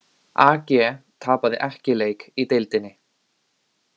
AG tapaði ekki leik í deildinni